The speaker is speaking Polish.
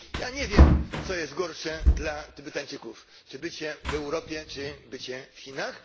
Ja nie wiem, co jest gorsze dla Tybetańczyków czy bycie w Europie, czy bycie w Chinach.